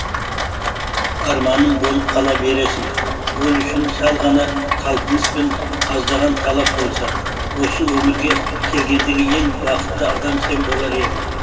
арманым болып қала бересің ол үшін сәл ғана талпыныс пен аздаған талап болса осы өмірге келгендегі ең бақытты адам сен болар едің